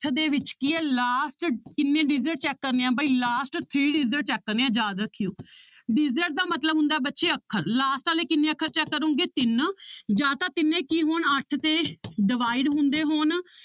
~ਠ ਦੇ ਵਿੱਚ ਕੀ ਹੈ last ਕਿੰਨੇ digit check ਕਰਨੇ ਆਂ ਬਾਈ last three digit check ਕਰਨੇ ਹੈ ਯਾਦ ਰੱਖਿਓ digit ਦਾ ਮਤਲਬ ਹੁੰਦਾ ਹੈ ਬੱਚੇ ਅੱਖਰ last ਵਾਲੇ ਕਿੰਨੇ ਅੱਖਰ check ਕਰੋਂਗੇ ਤਿੰਨ ਜਾਂ ਤਾਂ ਤਿੰਨੇ ਕੀ ਹੋਣ ਅੱਠ ਤੇ divide ਹੁੰਦੇ ਹੋਣ